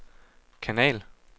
kanal